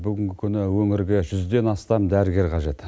бүгінгі күні өңірге жүзден астам дәрігер қажет